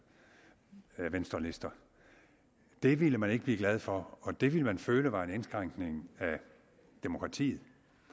venstrelister det ville man ikke blive glad for og det ville man føle var en indskrænkning af demokratiet